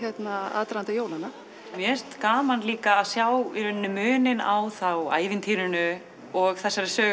aðdraganda jólanna mér finnst gaman líka að sjá þá í rauninni muninn á ævintýrinu og þessari sögu